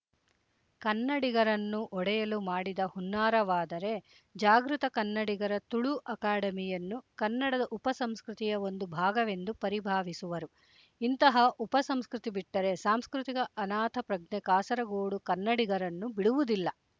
ಕನ್ನಡಿಗರನ್ನು ಒಡೆಯಲು ಮಾಡಿದ ಹುನ್ನಾರವಾದರೆ ಜಾಗೃತ ಕನ್ನಡಿಗರ ತುಳು ಅಕಾಡೆಮಿಯನ್ನು ಕನ್ನಡದ ಉಪಸಂಸ್ಕೃತಿಯ ಒಂದು ಭಾಗವೆಂದು ಪರಿಭಾವಿಸುವರು ಇಂತಹ ಉಪ ಸಂಸ್ಕೃತಿ ಬಿಟ್ಟರೆ ಸಾಂಸ್ಕೃತಿಕ ಅನಾಥ ಪ್ರಜ್ಞೆ ಕಾಸರಗೋಡು ಕನ್ನಡಗಿರನ್ನು ಬಿಡುವುದಿಲ್ಲ